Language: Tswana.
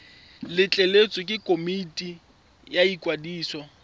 letleletswe ke komiti ya ikwadiso